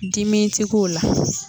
Dimi ti k'o la.